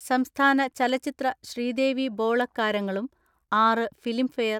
സംസ്ഥാന ചലച്ചിത്ര ശ്രീദേവി ബോളക്കാരങ്ങളും ആറ് ഫിലിം ഫെയർ